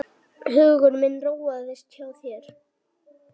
Hugur minn róaðist hjá þér.